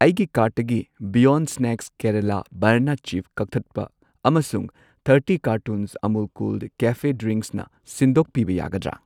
ꯑꯩꯒꯤ ꯀꯥꯔꯠꯇꯒꯤ beyond snacks Kerala banana chip ꯀꯛꯊꯠꯄ ꯑꯃꯁꯨꯡ ꯊꯔꯇꯤ ꯀꯥꯔꯇꯨꯟꯁ ꯑꯃꯨꯜ ꯀꯨꯜ ꯀꯦꯐꯦ ꯗ꯭ꯔꯤꯡꯛꯁꯅ ꯁꯤꯟꯗꯣꯛꯄꯤꯕ ꯌꯥꯒꯗ꯭ꯔꯥ?